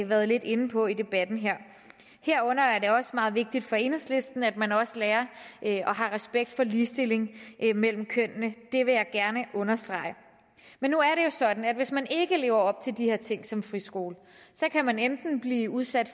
været lidt inde på i debatten her herunder er det også meget vigtigt for enhedslisten at man også lærer og har respekt for ligestilling mellem kønnene det vil jeg gerne understrege nu er sådan at hvis man ikke lever op til de her ting som friskole kan man enten blive udsat